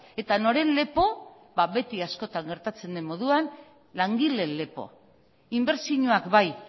eta noren lepo ba beti askotan gertatzen den moduan langileen lepo inbertsioak bai